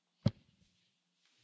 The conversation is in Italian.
Se sì, batta un colpo!